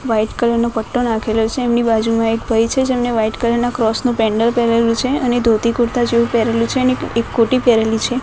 White colour નો પટ્ટો નાખેલો છે એમની બાજુમાં એક ભઈ છે જેમને વ્હાઇટ કલર ના ક્રોસ નુ પેન્ડલ પેરેલુ છે અને ધોતી કુર્તા જેવુ પેરેલુ છે અને એક કોટી પેરેલી છે.